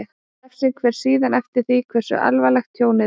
Refsing fer síðan eftir því hversu alvarlegt tjónið er.